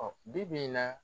Bi bi in na